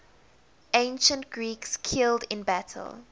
ancient greeks killed in battle